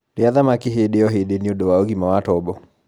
rĩa thamaki hĩndĩ o hĩndĩ nĩũndũ wa ũgima wa tobo